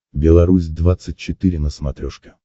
белорусь двадцать четыре на смотрешке